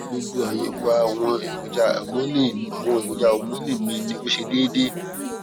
gbogbo àyẹwò àwọn èròjà homọnì àwọn èròjà homọnì mi ní ó ṣe déédé